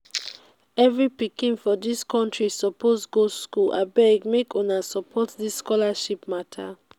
every pikin for dis country suppose go school abeg make una support dis scholarship mata.